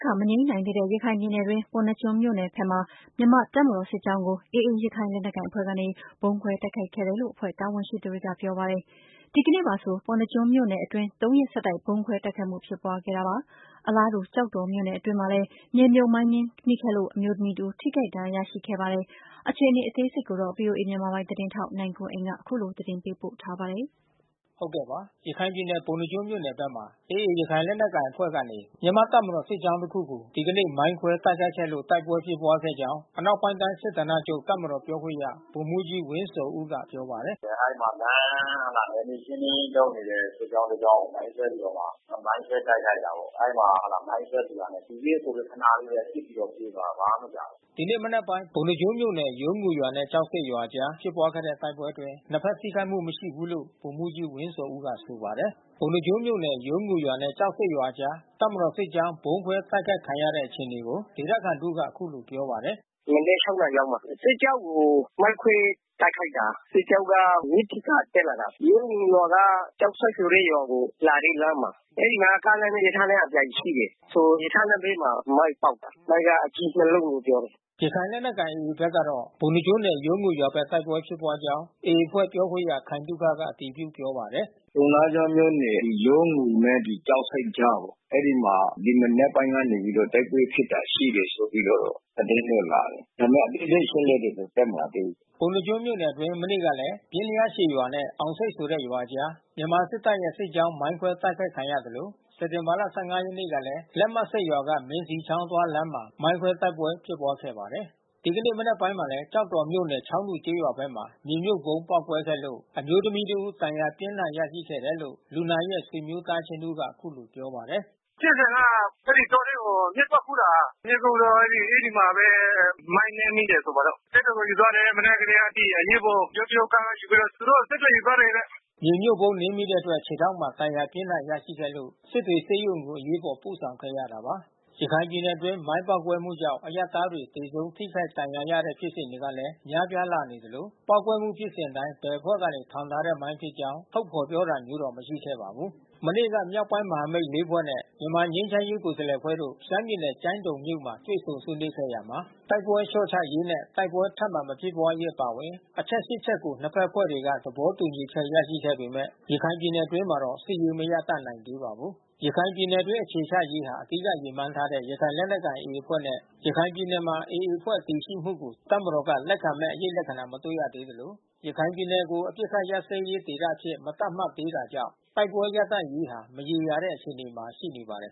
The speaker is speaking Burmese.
ခ မငြိမ်းနိုင်သေးတဲ့ ရခိုင်ပြည်နယ်အတွင်း ပုဏ္ဏားကျွန်းမြို့နယ်ဘက်မှာ မြန်မာတပ်မတော် စစ်ကြောင်းကို AA ရခိုင်လက်နက်ကိုင်အဖွဲ့ကနေ ဗုံးခွဲတိုက်ခိုက်ခဲ့တယ်လို့ အဖွဲ့တာဝန်ရှိသူတွေက ပြောပါတယ်။ ဒီကနေပါဆို ပုဏ္ဏားကျွန်းမြို့နယ်အတွင်း၃ ရက်ဆက်တိုက် ဗုံးခွဲ တိုက်ခိုက်မှု ဖြစ်ပွါးခဲ့တာပါ။ အလားတူ ကျောက်တော်မြို့နယ်အတွင်းမှာလည်း မြေမြုတ်မိုင်းနင်းမိခဲ့လို့ အမျိုးသမီး တဦး ထိခိုက်ဒဏ်ရာ ရရှိခဲ့ပါတယ်။ ဒီအခြေအနေတွေကို ဗွီအိုအေမြန်မာပိုင်း သတင်းထောက်နိုင်ကွန်းအိန်ကနေ သတင်းပေးပို့ထားပါတယ်။ ရခိုင်ပြည်နယ် ပုဏ္ဏားကျွန်းမြို့နယ်ဘက်မှာ AA ရခိုင်လက်နက်ကိုင်အဖွဲ့ကနေ မြန်မာတပ်မတော်စစ်ကြောင်း တခုကို ဒီကနေ့ မိုင်းခွဲတိုက်ခိုက်ခဲ့လို့ တိုက်ပွဲဖြစ်ပွားခဲ့ကြောင်း အနောက်ပိုင်းတိုင်းစစ်ဌာနချုပ် တပ်မတော်ပြောခွင့်ရဗိုလ်မှူးကြီး ဝင်းဇော်ဦးက ပြောပါတယ်။ “အဲဒီမှာလမ်း နယ်မြေရှင်းလင်းရေး လုပ်နေတဲ့ စစ်ကြောင်း တကြောင်းကို မိုင်းခွဲပြီးတော့မှ မိုင်းခွဲတိုက်ခိုက်တာပေါ့။ အဲဒီမှာ မိုင်းခွဲပြီးတာနဲ့ သူပစ်ကိုယ်ပစ် ခနလေးပဲ ပစ်ပြီးပြေးသွားတာ ဘာမှမကြာဘူး။” ဒီနေ့မနက်ပိုင်း ပုဏ္ဏားကျွန်းမြို့နယ် ယုံးငူရွာနဲ့ ကျောက်ဆိပ်ရွာအကြား ဖြစ်ပွားတဲ့တိုက်ပွဲအတွင်း နှစ်ဘက်ထိခိုက်မှု မရှိဘူးလို့ ဗိုလ်မှူးကြီးဝင်းဇော်ဦးက ဆိုပါတယ်။ ပုဏ္ဏားကျွန်းမြို့နယ် ယုံးငူရွာနဲ့ ကျောက်ဆိပ်ရွာအကြား တပ်မတော်စစ်ကြောင်း ဗုံးခွဲတိုက်ခိုက်ခံရတဲ့ အခြေအနေကို ဒေသခံတဦးက အခုလိုပြောပါတယ်။ “မနက် ၆ နာရီလောက်မှာ။ စစ်ကြောင်းကို မိုင်းခွဲ တိုက်ခိုက်တာ။ စစ်ကြောင်းက မြစ်ဆီက တက်လာတာ။ ယုံးငူရွာက ကျောက်ဆိပ်ဆိုတဲ့ ရွာကို လာတဲ့လမ်းမှာ။ အဲဒီမှာ ကားလမ်းနဲ့ ရထားလမ်းအပြိုင် ရှိတယ်။ ဆို ရထားလမ်းဘေးမှာ မိုင်းပေါက်တာ။ မိုင်းက အကြီး နှစ်လုံးလို့ ပြောတယ်။” ရခိုင်လက်နက်ကိုင် AA ဘက်ကတော့ ပုဏ္ဏားကျွန်းနယ် ယုံးငူရွာဘက်တိုက်ပွဲ ဖြစ်ပွားကြောင်း အဖွဲ့ပြောခွင့်ရ ခိုင်သုခက အတည်ပြုပြောပါတယ်။ “ပုဏ္ဏားကျွန်းနယ် ယုံးငူရွာနဲ့ ကျောက်ဆိပ်အကြားပေါ့။ အဲဒီမှာ ဒီမနက်ပိုင်းကနေ တိုက်ပွဲဖြစ်ပွားခဲ့တာ ရှိတယ်ဆိုပြီးတော့ သတင်းတော့လာတယ်။ ဒါပေမဲ့ အသေးစိတ် အချက်လက်တော့ တက်မလာသေးဘူး။” ပုဏ္ဏားကျွန်းမြို့နယ်အတွင်း မနေ့ကလည်း ပျဉ်လျားရှည်ရွာနဲ့ အောင်ဆိပ်ဆိုတဲ့ရွာကြား မြန်မာစစ်တပ်ရဲ့ စစ်ကြောင်း မိုင်းခွဲတိုက်ခိုက်ခံခဲ့ရသလို စက်တင်ဘာ ၁၅ ရက်နေ့ကလည်း လက်မဆိပ်က မင်းဇီချောင်းအသွားလမ်းမှာ မိုင်းခွဲတိုက်ပွဲ ဖြစ်ပွားခဲ့ပါတယ်။ ဒီကနေ့မနက်ပိုင်းမှာလည်း ကျောက်တော်မြို့နယ် ချောင်းတူကျေးရွာဘက်မှာ မြေမြှုပ်ဗုံးပေါက်ကွဲခဲ့လို့ အမျိုးသမီးတဦး ဒဏ်ရာ ပြင်းထန်ရရှိခဲ့တယ်လို့ လူနာရဲ့ ဆွေမျိုးသားချင်း တဦးက အခုလို ပြောပါတယ်။ “ဖြစ်စဉ်က တောထဲမှာ မျှစ်သွားခူးတာ။ မျှစ်ခူးတော့ အဲဒီမှာပဲ မိုင်းနင်းမိတယ်ဆိုပါတော့။ စစ်တွေကို ယူသွားတယ်။ မနက်ကတည်းက အရေးပေါ် ယိုးတရုတ်ကားက ယူပြီးတော့ သူတို့ကို စစ်တွေကို ယူသွားတယ်တဲ့။” မြေမြှုပ်ဗုံး နင်းမိတဲ့အတွက် ခြေထောက်မှာ ဒဏ်ရာပြင်းထန် ရရှိခဲ့လို့ စစ်တွေဆေးရုံကို အရေးပေါ် ပို့ဆောင်ခဲ့ရတာပါ။ ရခိုင်ပြည်နယ်အတွင်း မိုင်းပေါက်ကွဲမှုကြောင့် အရပ်သားတွေ သေဆုံးထိခိုက်ဒဏ်ရာရတဲ့ ဖြစ်စဉ်တွေလည်း များပြားလာနေသလို ပေါက်ကွဲမှုဖြစ်စဉ်တိုင်း ဘယ်အဖွဲ့ကနေ ထောင်ထားတဲ့ မိုင်းဖြစ်ကြောင်း ထုတ်ဖေါ်ပြောတာမျိုးတော့ မရှိခဲ့ပါဘူး။ မနေ့က မြောက်ပိုင်းမဟာမိတ် ၄ ဖွဲ့နဲ့ မြန်မာငြိမ်းချမ်းရေး ကိုယ်စားလှယ်အဖွဲ့တို့ ရှမ်းပြည်နယ် ကျိုင်းတုန်မြို့မှာ တွေ့ဆုံဆွေးနွေးခဲ့ရာမှာ တိုက်ပွဲလျှော့ချရေးနဲ့ တိုက်ပွဲထပ်မံ မဖြစ်ပွားရေးအပါအဝင် အချက် ရှစ် ချက်ကို နှစ်ဘက် အဖွဲ့တွေက သဘောတူညီချက် ရရှိခဲ့ပေမဲ့ ရခိုင်ပြည်နယ်အတွင်းမှာတော့ စစ်ရေးမရပ်တန့်နိုင်သေးပါဘူး။ ရခိုင်ပြည်နယ်အတွင်း အခြေချရေးဟာ အဓိကရည်မှန်းထားတဲ့ ရခိုင်လက်နက်ကိုင် AA အဖွဲ့နဲ့ ရခိုင်ပြည်နယ်မှာ AA အဖွဲ့တည်ရှိမှုကို တပ်မတော်က လက်ခံမဲ့ အရိပ်လက္ခဏာ မတွေ့သေးသလို ရခိုင်ပြည်နယ်ကို အပစ်ခတ်ရပ်စဲရေး ဒေသအဖြစ် မသတ်မှတ်သေးတာကြောင့် တိုက်ပွဲရပ်တန့်ရေးဟာ မရေရာတဲ့ အခြေအနေမှာ ရှိနေပါတယ်